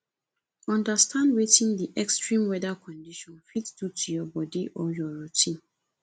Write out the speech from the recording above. understand wetin di extreme weather condition fit do to your body or your routine